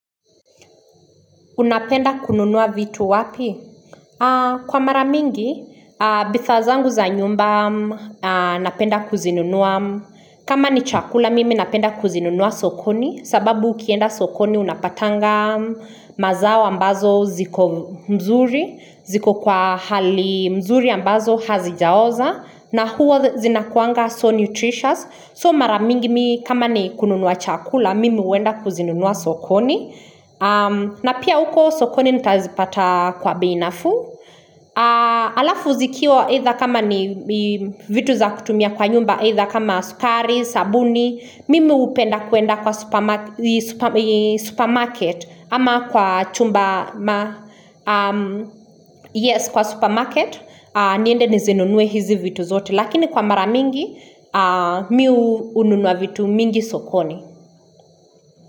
Unapenda kununua vitu wapi? Kwa mara mingi, bidhaa zangu za nyumba napenda kuzinunua. Kama ni chakula, mimi napenda kuzinunua sokoni. Sababu ukienda sokoni unapatanga mazao ambazo ziko mzuri. Ziko kwa hali mzuri ambazo hazijaoza. Na huwa zinakuanga so nutritious. So mara mingi mi kama ni kununua chakula, mimi huenda kuzinunua sokoni. Na pia uko sokoni nitazipata kwa bei nafuu Alafu zikiwa aidha kama ni vitu za kutumia kwa nyumba either kama sukari, sabuni Mimi hupenda kuenda kwa supermarket ama kwa chumba Yes kwa supermarket niende nizinunue hizi vitu zote Lakini kwa mara mingi Mi hununua vitu mingi sokoni.